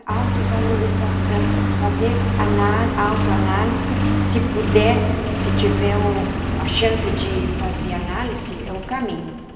Autovalorização, fazer análi autoanálise, se puder, se tiver um a chance de fazer análise, é o caminho.